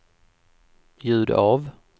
ljud av